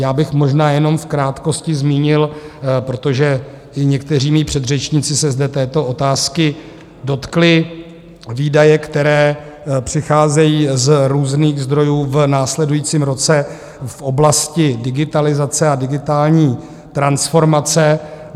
Já bych možná jenom v krátkosti zmínil, protože i někteří mí předřečníci se zde této otázky dotkli, výdaje, které přicházejí z různých zdrojů v následujícím roce v oblasti digitalizace a digitální transformace.